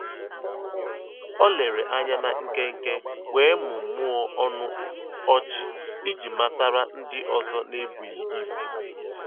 O lèrè ànyá na nkénkè wéé mụ́mụ́ọ́ ọnụ́ ọ́chị́ ijì matàra ndí ọ́zọ́ n'èbùghị́ ìbù.